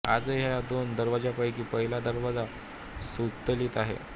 आजही या दोन दरवाजांपैकी पहिला दरवाजा सुस्थितीत आहे